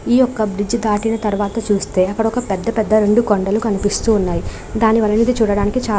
ఈ యొక బ్రిడ్జి తాకి నటు అయితే ఇక్కడ పీడా పీడా బ్రిడ్జి లు కనపడుతునాయి. దానిని చూడదానికి--